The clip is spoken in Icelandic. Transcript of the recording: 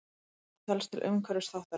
Mataræði telst til umhverfisþáttarins.